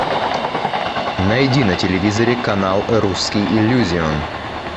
найди на телевизоре канал русский иллюзион